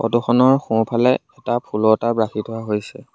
Photo খনৰ সোঁফালে এটা ফুলৰ টাব ৰাখি থোৱা হৈছে।